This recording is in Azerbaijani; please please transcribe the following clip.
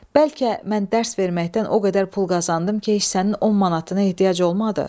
Bəlkə mən dərs verməkdən o qədər pul qazandım ki, heç sənin 10 manatına ehtiyac olmadı.